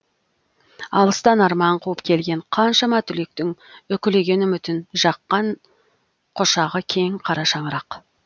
алыстан арман қуып келген қаншама түлектің үкілеген үмітін жаққан құшағы кең қарашаңырақ